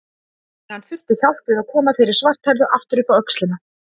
En hann þurfti hjálp við að koma þeirri svarthærðu aftur upp á öxlina.